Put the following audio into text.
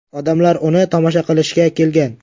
Odamlar uni tomosha qilishga kelgan.